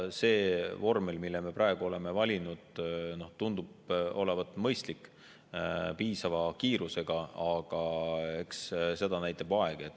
See vormel, mille me praegu oleme valinud, tundub olevat mõistlik, piisava kiirusega, aga eks seda näitab aeg.